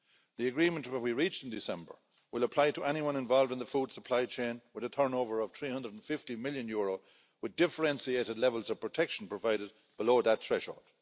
The agreement that we reached in December will apply to anyone involved in the food supply chain with a turnover of EUR 350 million, with differentiated levels of protection provided below that threshold.